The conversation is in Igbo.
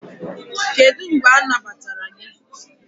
Kedu mgbe anagbatara gị?